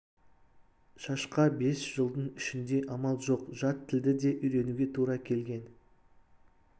шашқа бес жылдың ішінде амал жоқ жат тілді де үйренуге тура келген